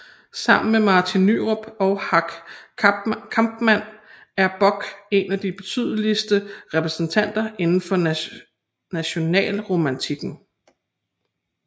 Sammen med Martin Nyrop og Hack Kampmann er Borch en af de betydeligste repræsentanter inden for nationalromantikken